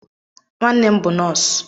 Nwanne m bụ nọọsụ.